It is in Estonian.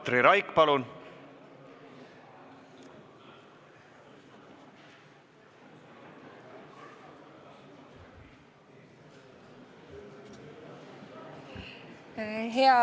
Katri Raik, palun!